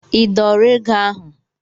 I dọọrọ ego ahụ?